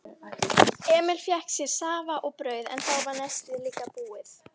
Emil fékk sér safa og brauð en þá var nestið líka búið.